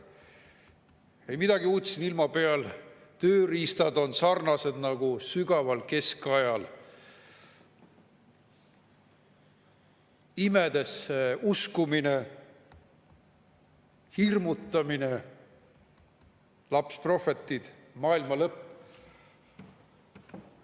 Ei midagi uut siin ilma peal, tööriistad on sarnased nagu sügaval keskajal: imedesse uskumine, hirmutamine, lapsprohvetid, maailmalõpp.